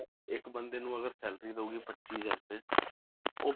ਇੱਕ ਬੰਦੇ ਨੂੰ ਅਗਰ salary ਦਊਗੀ ਪੱਚੀ ਹਜ਼ਾਰ ਰੁਪਏ ਉਹ